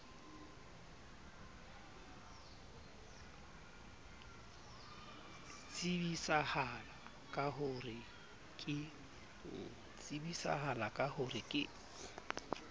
tsebisahala ka ho re ke